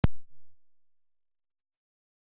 Elsta handrit